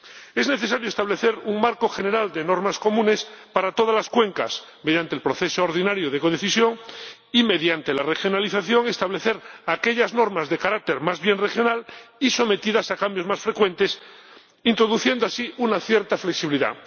Es necesario establecer un marco general de normas comunes para todas las cuencas mediante el proceso ordinario de codecisión, así como establecer, mediante la regionalización, aquellas normas de carácter más bien regional y sometidas a cambios más frecuentes, introduciendo así una cierta flexibilidad.